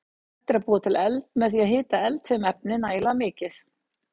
Hægt er að búa til eld með því að hita eldfim efni nægilega mikið.